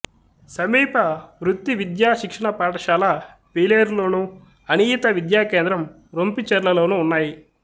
సమీప వృత్తి విద్యా శిక్షణ పాఠశాల పీలేరు లోను అనియత విద్యా కేంద్రం రొంపిచెర్లలోను ఉన్నాయి